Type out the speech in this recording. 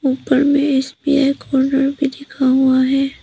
ऊपर में SBI corner भी लिखा हुआ है।